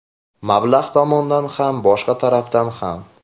Mablag‘ tomondan ham, boshqa tarafdan ham.